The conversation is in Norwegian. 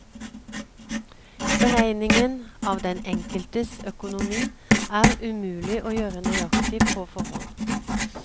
Beregningen av den enkeltes økonomi er umulig å gjøre nøyaktig på forhånd.